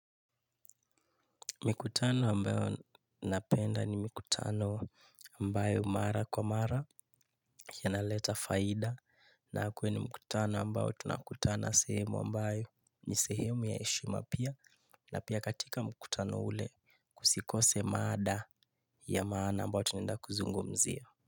Mikutano ambayo napenda ni mikutano ambayo mara kwa mara ya naleta faida na kwenye mikutano ambayo tunakutana sehemu ambayo ni sehemu ya heshima pia na pia katika mikutano ule kusikose maada ya maana ambayo tunaenda kuzungumzia.